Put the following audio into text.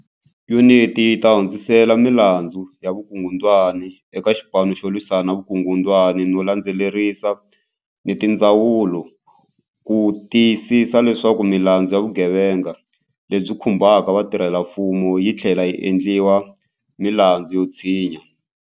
Yuniti yi ta hundzisela milandzu ya vukungundwani eka Xipanu xo Lwisana ni Vukungundwani no landzelerisa ni tindzawulo ku ti yisisa leswaku milandzu ya vugevenga leyi khumbaka vatirhelamfumo yi tlhlela yi endliwa milandzu yo tshinya.